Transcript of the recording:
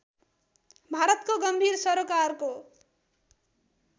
भारतको गम्भीर सरोकारको